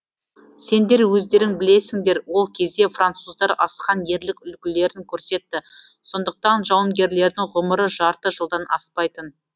сендер өздерің білесіңдер ол кезде француздар асқан ерлік үлгілерін көрсетті сондықтан жауынгерлердің ғұмыры жарты жылдан аспайтын